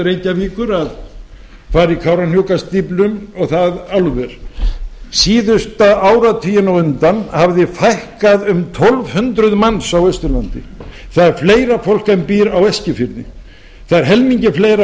reykjavíkur að fara í kárahnjúkastíflu og þá álver síðustu áratugina á undan hafði fækkað um tólf hundruð manns á austurlandi það er fleira fólk en býr á eskifirði það er helmingi fleira